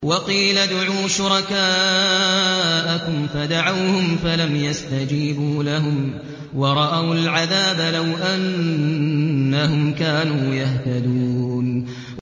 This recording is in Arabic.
وَقِيلَ ادْعُوا شُرَكَاءَكُمْ فَدَعَوْهُمْ فَلَمْ يَسْتَجِيبُوا لَهُمْ وَرَأَوُا الْعَذَابَ ۚ لَوْ أَنَّهُمْ كَانُوا يَهْتَدُونَ